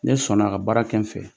Ne sɔnna ka baara kɛ n fɛ